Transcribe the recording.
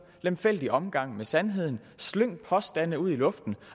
lemfældig omgang med sandheden slynge påstande ud i luften